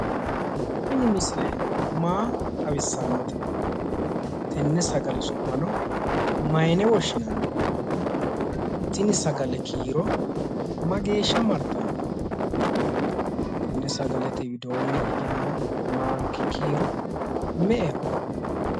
Tini misile maa xawissannote tenne sagale su'mano mayine woshshinanni teni sagale kiiro mageeshsha martanno tenne sagalete widoonni hige noo maanki kiiro me"eho